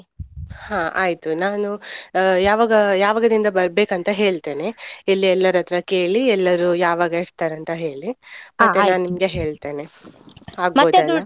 ಹಾ ಆಯ್ತು. ನಾನು ಆ ಯಾವಾಗ ಯಾವಗದಿಂದ ಬರ್ಬೇಕಂತ ಹೇಳ್ತೇನೆ. ಇಲ್ಲಿ ಎಲ್ಲರತ್ರ ಕೇಳಿ ಎಲ್ಲರೂ ಯಾವಾಗ ಇರ್ತರಂತ ಹೇಳಿ ನಿಮ್ಗೆ ಹೇಳ್ತೇನೆ ?